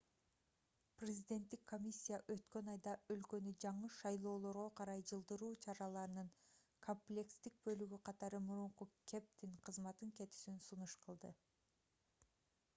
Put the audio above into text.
президенттик комиссия өткөн айда өлкөнү жаңы шайлоолорго карай жылдыруу чараларынын комплекстик бөлүгү катары мурунку кэптин кызматтан кетүүсүн сунуш кылды